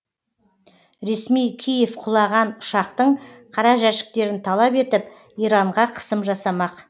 ресми киев құлаған ұшақтың қара жәшіктерін талап етіп иранға қысым жасамақ